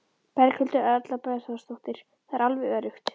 Berghildur Erla Bernharðsdóttir: Það er alveg öruggt?